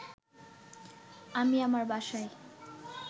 আমি আমার বাসায়